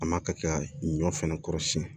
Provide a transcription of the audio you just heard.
A ma ka kɛ ka ɲɔ fɛnɛ kɔrɔsiyɛn